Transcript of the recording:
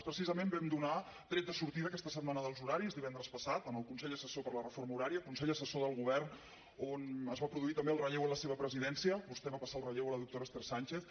precisament vam donar tret de sortida a aquesta setmana dels horaris divendres passat en el consell assessor per a la reforma horària consell assessor del govern on es va produir també el relleu en la seva presidència vostè va passar el relleu a la doctora esther sánchez